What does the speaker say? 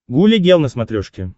гуля гел на смотрешке